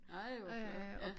Ej hvor flot ja